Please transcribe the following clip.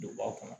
Donba kɔnɔ